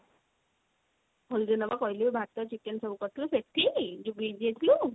ହୋଲି ଦିନ ବା କହିଲି ଭାତ chicken ସବୁ କରିଥିଲେ ସେଠି ଯଉ beach ଯାଇଥିଲୁ।